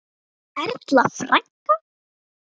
Erla frænka.